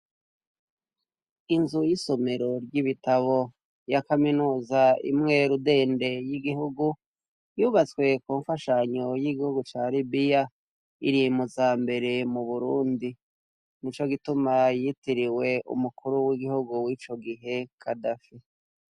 Inzu y'isomero ry'ibitabo ya kaminuza imwe rudende y'igihugu yubatswe ku mfashanyo y'igihugu ca Libiya iri muza mbere mu Burundi. Nico gituma yitiriwe umukuru w'igihugu w'ico gihe Kadafi.